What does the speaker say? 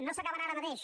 no s’acabarà ara mateix